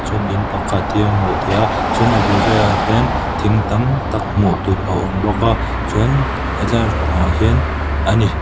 in pakhat hi a hmuh theih a chuan a bul velah hian thing tam tak hmuh tur a awm bawk a chuan lampang ah hian a ni--